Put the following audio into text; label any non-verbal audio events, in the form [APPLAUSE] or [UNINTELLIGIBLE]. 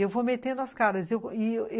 Eu vou metendo as caras [UNINTELLIGIBLE]